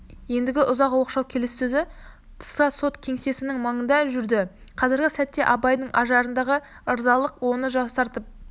ендігі ұзақ оқшау келіссөзі тыста сот кеңсесінің маңында жүрді қазіргі сәтте абайдың ажарындағы ырзалық оны жасартып